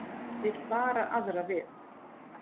Vill vara aðra við